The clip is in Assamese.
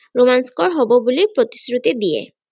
ৰোমাঞ্চকৰ হব বুলি প্ৰতিশ্ৰুতি দিয়ে।